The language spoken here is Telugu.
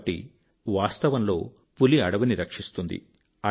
కాబట్టి వాస్తవంలో పులి అడవిని రక్షిస్తుంది